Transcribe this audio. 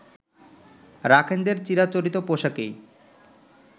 রাখাইনদের চিরাচরিত পোশাকেই